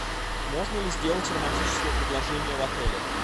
можно ли сделать романтическое предложение в отеле